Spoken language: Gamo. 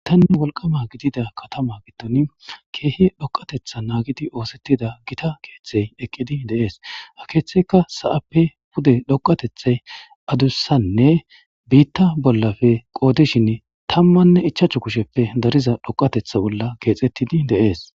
Gitanne wolqama gidida katama giddon keehe dhoqatetha naagidi oosettida gita keeththey eqqidi deees hakeeththeka sa'appe pude dhoqatethey adussanne biitta bollafe qoodishin tammanne ichaachu kusheppe dariza dhoqatetha bolla keexettidi de'ees